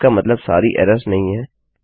इसका मतलब सारी एरर्स नहीं है